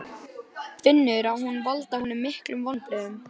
Fjörðurinn var eitt grátt og fyssandi gólf af geltandi öldum.